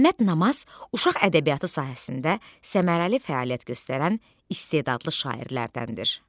Məmməd Namaz uşaq ədəbiyyatı sahəsində səmərəli fəaliyyət göstərən istedadlı şairlərdəndir.